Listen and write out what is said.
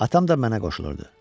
Atam da mənə qoşulurdu.